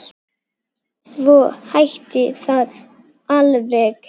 Svo hætti það alveg.